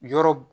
Yɔrɔ